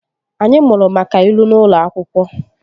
Anyị mụrụ maka ilu n'ụlọ akwụkwọ